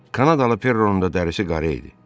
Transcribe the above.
Kanadalı Perronun da dərisi qara idi.